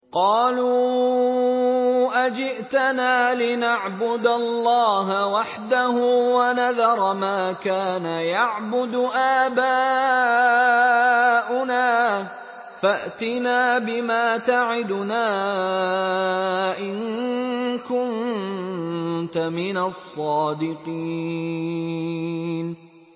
قَالُوا أَجِئْتَنَا لِنَعْبُدَ اللَّهَ وَحْدَهُ وَنَذَرَ مَا كَانَ يَعْبُدُ آبَاؤُنَا ۖ فَأْتِنَا بِمَا تَعِدُنَا إِن كُنتَ مِنَ الصَّادِقِينَ